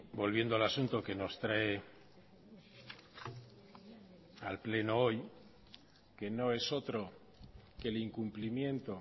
volviendo al asunto que nos trae al pleno hoy que no es otro que el incumplimiento